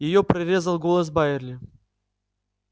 её прорезал голос байерли